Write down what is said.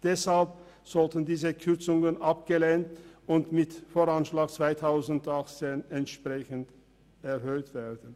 Deshalb sollten diese Kürzungen abgelehnt und im VA 2018 entsprechend erhöht werden.